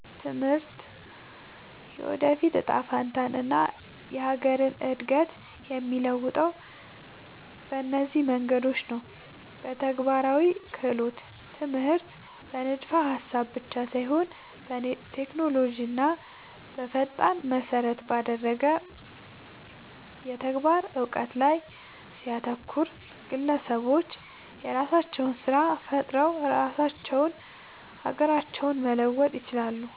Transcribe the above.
ትምህርት የወደፊት እጣ ፈንታንና የሀገርን እድገት የሚለውጠው በእነዚህ መንገዶች ነው፦ በተግባራዊ ክህሎት፦ ትምህርት በንድፈ-ሀሳብ ብቻ ሳይሆን ቴክኖሎጂንና ፈጠራን መሰረት ባደረገ የተግባር እውቀት ላይ ሲያተኩር፣ ግለሰቦች የራሳቸውን ስራ ፈጥረው ራሳቸውንና ሀገራቸውን መለወጥ ይችላሉ።